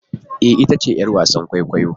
Ee! ita ce 'yar wasan kwaikwayo.